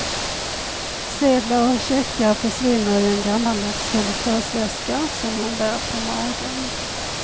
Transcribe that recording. Sedlar och checkar försvinner i en gammaldags konduktörsväska som hon bär på magen.